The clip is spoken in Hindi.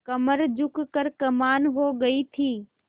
कमर झुक कर कमान हो गयी थी